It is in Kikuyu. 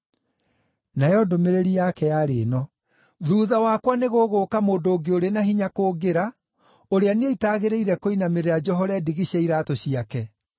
Nayo ndũmĩrĩri yake yarĩ ĩno: “Thuutha wakwa nĩgũgũũka mũndũ ũngĩ ũrĩ na hinya kũngĩra, ũrĩa niĩ itagĩrĩire kũinamĩrĩra njohore ndigi cia iraatũ ciake.